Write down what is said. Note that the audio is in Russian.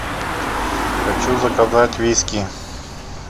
хочу заказать виски